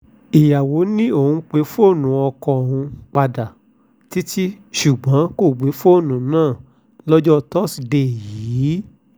ìyàwó ni òun pe fóònù ọkọ òun padà títí ṣùgbọ́n kò gbé fóònù náà lọ́jọ́ tọ́sídée yìí